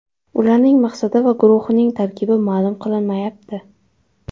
Ularning maqsadi va guruhning tarkibi ma’lum qilinmayapti.